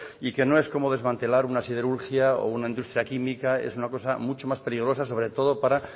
y que no es como desmantelar una siderurgia o una industria química es una cosa mucho más peligrosa sobre todo para